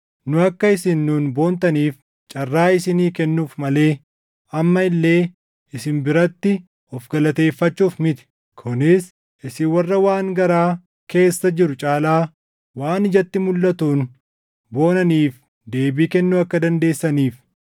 Nu akka isin nuun boontaniif carraa isinii kennuuf malee amma illee isin biratti of galateeffachuuf miti; kunis isin warra waan garaa keessa jiru caalaa waan ijatti mulʼatuun boonaniif deebii kennuu akka dandeessaniif.